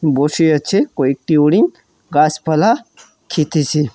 বসে আছে কয়েকটি হরিন গাছপালা খেতেছে।